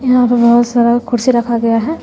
यहां पे बहोत सारा कुर्सी रखा हुआ है।